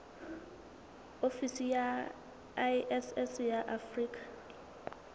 ofisi ya iss ya afrika